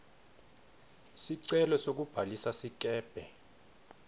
sicelo sekubhalisa sikebhe